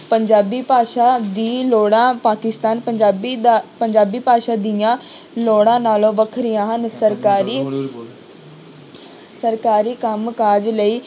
ਪੰਜਾਬੀ ਭਾਸ਼ਾ ਦੀ ਲੋੜ੍ਹਾਂ ਪਾਕਿਸਤਾਨ ਪੰਜਾਬੀ ਦਾ ਪੰਜਾਬੀ ਭਾਸ਼ਾ ਦੀਆਂ ਲੋੜਾਂ ਨਾਲੋਂ ਵੱਖਰੀਆਂ ਹਨ ਸਰਕਾਰੀ ਸਰਕਾਰੀ ਕੰਮਕਾਜ ਲਈ